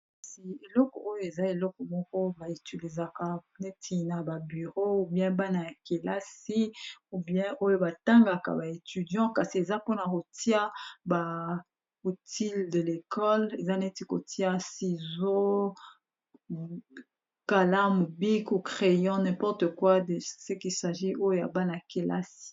Kasi eleko oyo eza eleko moko ba utilisaka neti na ba bureau ou bien bana ya kelasi ou bien oyo batangaka ba étudiant kasi eza mpona kotia ba outils de l'école eza neti kotia ciseau kalamu, crayon importe quoi de ce qui sagit oyo ya bana ya kelasi.